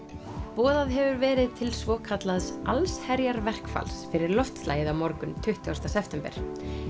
boðað hefur verið til svokallaðs allsherjarverkfalls fyrir loftslagið á morgun tuttugasta september